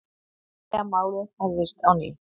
Vilja að málið hefjist á ný